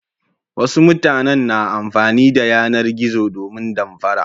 Wasu matanen na amfani da yanar-zo domin damfara.